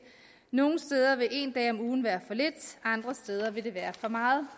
nogle steder vil en dag om ugen være for lidt andre steder vil det være for meget